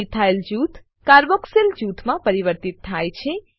methyl જૂથ carboxyl જૂથમાં પરિવર્તિત થાય છે